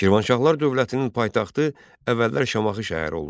Şirvanşahlar dövlətinin paytaxtı əvvəllər Şamaxı şəhəri olmuşdu.